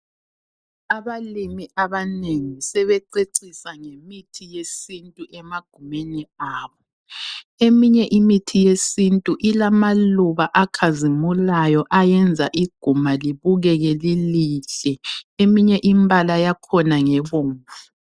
Abalimi abanengi sebececisa ngemithi yesintu emagumeni abo. Eminye imithi yesintu ilamaluba akhazimulayo ayenza iguma libukeke lilihle eminye imbala yakhona ngebomvu.